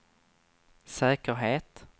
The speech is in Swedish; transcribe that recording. säkerhet